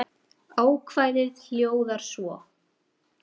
Ákvæðið hljóðar svo